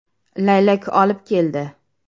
“Laylak olib keldi”.